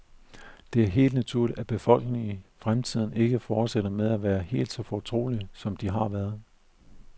Det er helt naturligt, at befolkningen i fremtiden ikke fortsætter med at være helt så forsigtige, som de har været.